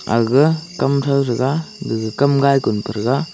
aga kam throu threga gaga kamngai Kun prethrega.